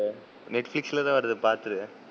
Netflix ல தான் வருது பாத்துரு,